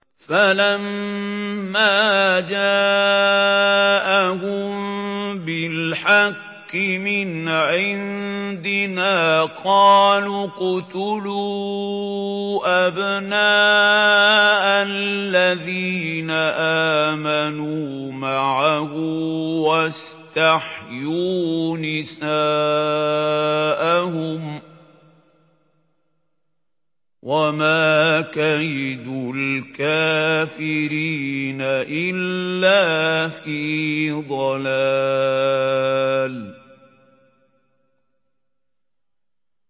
فَلَمَّا جَاءَهُم بِالْحَقِّ مِنْ عِندِنَا قَالُوا اقْتُلُوا أَبْنَاءَ الَّذِينَ آمَنُوا مَعَهُ وَاسْتَحْيُوا نِسَاءَهُمْ ۚ وَمَا كَيْدُ الْكَافِرِينَ إِلَّا فِي ضَلَالٍ